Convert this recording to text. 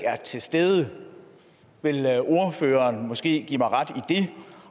til stede vil ordføreren måske give mig ret i det